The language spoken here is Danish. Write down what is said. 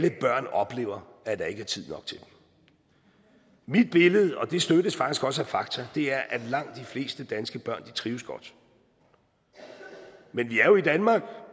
oplever at der ikke er tid nok til dem mit billede og det støttes faktisk også af fakta er at langt de fleste danske børn trives godt men vi er jo i danmark